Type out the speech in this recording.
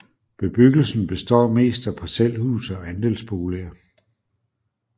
Bebyggelsen består mest af parcelhuse og andelsboliger